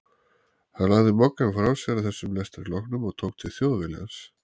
Hann lagði Moggann frá sér að þessum lestri loknum og tók til Þjóðviljans.